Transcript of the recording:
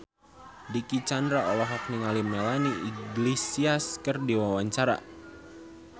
Dicky Chandra olohok ningali Melanie Iglesias keur diwawancara